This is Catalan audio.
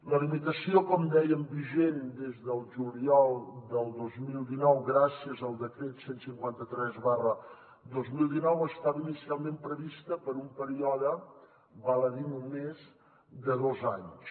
la limitació com dèiem vigent des del juliol del dos mil dinou gràcies al decret cent i cinquanta tres dos mil dinou estava inicialment prevista per un període val a dir només de dos anys